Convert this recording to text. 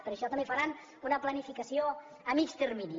per això també faran una planificació a mitjà termini